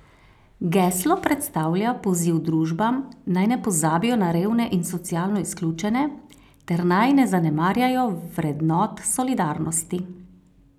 Geslo predstavlja poziv družbam, naj ne pozabijo na revne in socialno izključene ter naj ne zanemarjajo vrednot solidarnosti.